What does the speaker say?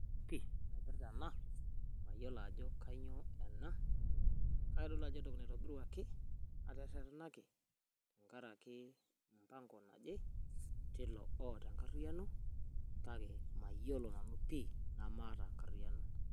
Ore ena, mayiolo ajo kanyioo ena, kake kitodolu ajo entoki naitobiruaki, naterrerrenaki tenkaraki mpango naje, tilo oata enkarriyiano, kake mayiolo nanu pi namaata enkarriyiano.